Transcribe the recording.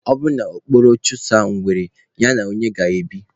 Ọ bụrụ na okpokoro chụsaa ngwere, ya na onye ga-ebi?